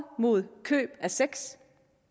mod køb af sex